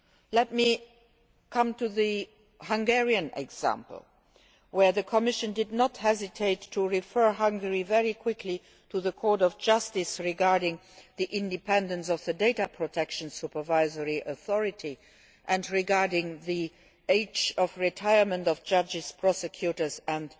so. Let me come to the Hungarian example, where the Commission did not hesitate to refer Hungary very quickly to the Court of Justice regarding the independence of the data protection supervisory authority and the age of retirement of judges, prosecutors